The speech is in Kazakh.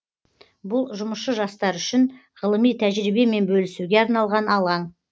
бұл жұмысшы жастар үшін ғылыми тәжірибемен бөлісуге арналған алаң